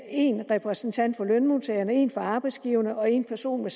en repræsentant for lønmodtagerne og en repræsentant for arbejdsgiverne og en person med